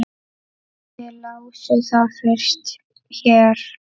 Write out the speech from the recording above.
Þið lásuð það fyrst hér!